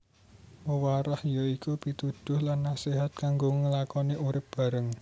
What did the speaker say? Wewarah ya iku pituduh lan naséhat kanggo nglakoni urip bareng